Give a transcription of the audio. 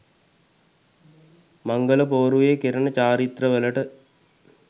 මංගල පෝරුවේ කෙරෙන චාරිත්‍රවලට